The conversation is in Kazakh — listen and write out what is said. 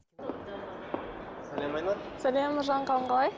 сәлем айнұр сәлем нұржан қалың қалай